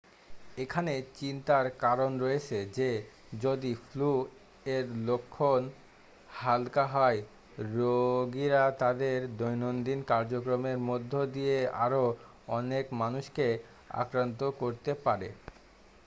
এখানে চিন্তার কারণ রয়েছে যে যদি ফ্লু এর লক্ষণ হালকা হয় রোগীরা তাদের দৈনন্দিন কার্যক্রমের মধ্য দিয়ে আরো অনেক মানুষকে আক্রান্ত করতে পারে